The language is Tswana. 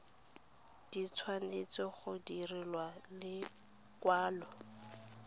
di tshwanetse go direlwa lekwalo